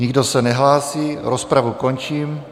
Nikdo se nehlásí, rozpravu končím.